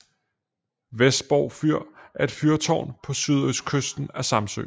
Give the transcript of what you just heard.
Vesborg Fyr er et fyrtårn på sydøstkysten af Samsø